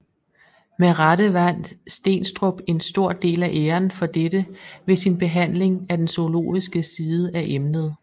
Med rette vandt Steenstrup en stor del af æren for dette ved sin behandling af den zoologiske side af emnet